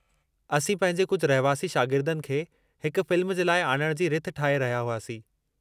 असीं पंहिंजे कुझु रहिवासी शागिर्दनि खे हिक फ़िल्म जे लाइ आणणु जी रिथ ठाहे रहिया हुआसीं।